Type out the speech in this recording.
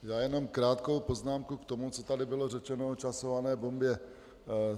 Já jenom krátkou poznámku k tomu, co tady bylo řečeno o časované bombě.